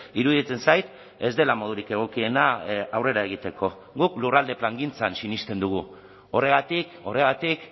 iruditzen zait ez dela modurik egokiena aurrera egiteko guk lurralde plangintzan sinesten dugu horregatik horregatik